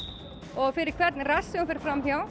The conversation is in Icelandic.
og fyrir hvern rass sem þú ferð fram hjá